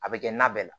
A bɛ kɛ na bɛɛ la